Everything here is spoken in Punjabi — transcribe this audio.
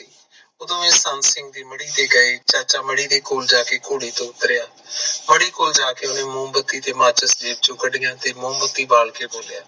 ਓਦੋ ਮੁਸਤਾਹਕ ਸਿੰਘ ਮੜੀਦੇ ਕੋਲ ਜਾਕੇ ਘੋੜੀ ਤੇ ਜਾਕੇ ਉਤਰਿਆ ਮੜੀ ਕੋਲ ਜਾਕੇ ਉਸਨੇ ਮੋਮਬੱਤੀ ਤੇ ਮਾਚਿਸ ਜੇਬ੍ਹ ਚ ਕਾਦੀਆਂ ਤੇ ਮੋਮਬੱਤੀ ਬਾਲ ਕ ਬੋਲਿਆ